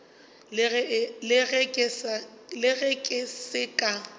le ge ke se ka